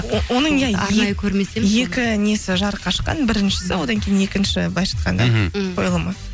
оның иә екі несі жарыққа шыққан біріншісі одан кейін екінші быйлайынша айтқанда мхм қойылымы